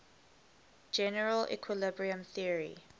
general equilibrium theory